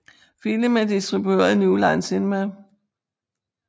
Filmen er distribueret af New Line Cinema